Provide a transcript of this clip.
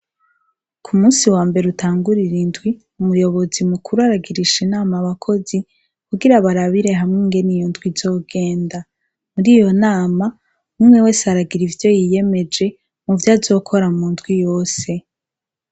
Kumunsi wa mbere utangurira indwi, umuyobozi mukuru aragirisha inama abakozi , kugira barabire hamwe ingene iyo ndwi izogenda. Muriyo nama, umwe wese aragira ivyo yiyemeje ,muvyo azokora mu ndwi yose.